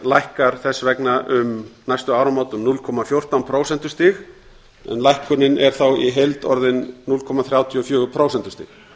lækkar þess vegna um næstu áramót um núll komma fjórtán prósentustig en lækkunin er þá í heild orðin núll komma þrjátíu og fjögur prósentustig